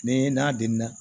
Ni n'a den na